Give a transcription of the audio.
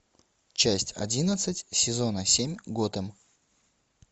часть одиннадцать сезона семь готэм